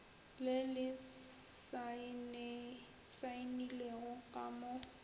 le le saenilego ka mo